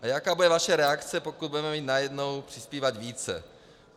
A jaká bude vaše reakce, pokud budeme mít najednou přispívat více.